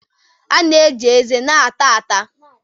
A na-eji eze na-ata ata